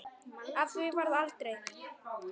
Af því varð aldrei.